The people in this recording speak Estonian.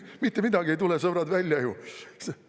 Mitte midagi ei tule ju, sõbrad, välja!